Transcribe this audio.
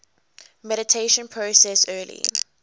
mediation process early